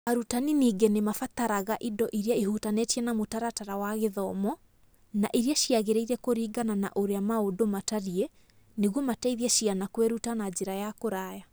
Arutani ningĩ nĩ mabataraga indo iria ihutanĩtie na mũtaratara wa gĩthomo na iria ciagĩrĩire kũringana na ũrĩa maũndũ matariĩ nĩguo mateithie ciana kwĩruta na njĩra ya kũraya.